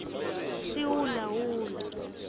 sihulahula